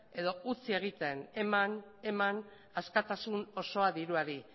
edo utzi egiten eman eman askatasun osoa diruari